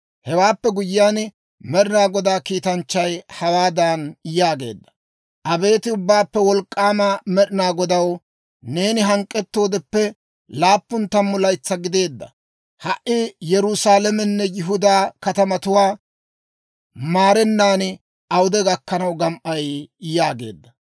«Hewaappe guyyiyaan, Med'inaa Godaa kiitanchchay hawaadan yaageedda; ‹Abeet Ubbaappe Wolk'k'aama Med'inaa Godaw, neeni hank'k'ettoodeppe laappun tammu laytsaa gideedda ha Yerusaalamenne Yihudaa katamatuwaa maarennan awude gakkanaw gam"ay?› yaageedda.»